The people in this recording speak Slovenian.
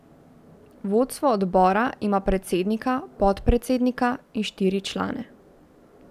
Vodstvo odbora ima predsednika, podpredsednika in štiri člane.